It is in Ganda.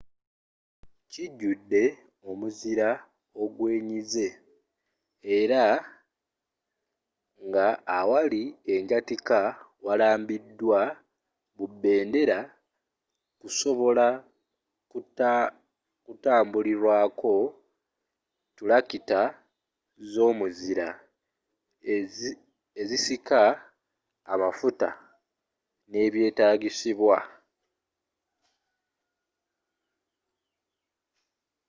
kijjudde omuzira ogwenyize era nga awali anjyatika warambiddwa bubendera kusobola kutambulrako ttulakita z'omuzira ezisika amafuta n'ebyetaagisibwa